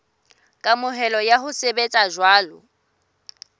kamohelo ya ho sebetsa jwalo